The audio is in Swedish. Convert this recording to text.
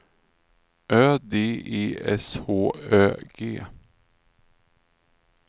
Ö D E S H Ö G